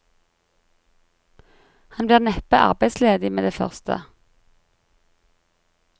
Han blir neppe arbeidsledig med det første.